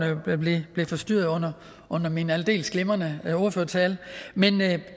blev forstyrret under under min aldeles glimrende ordførertale men det